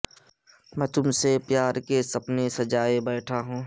میں تم سے پیار کے سپنے سجائے بیٹھا ہوں